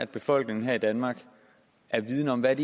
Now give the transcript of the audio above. befolkningen her i danmark er vidende om hvad